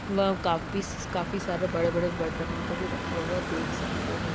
काफीस काफिसारे सारे बड़े बड़े बरतनों को भी रखा हुआ देख सकते है।